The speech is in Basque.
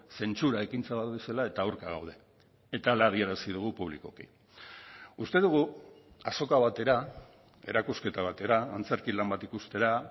zentsura ekintza bat bezala eta aurka gaude eta hala adierazi dugu publikoki uste dugu azoka batera erakusketa batera antzerki lan bat ikustera